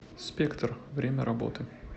спектр время работы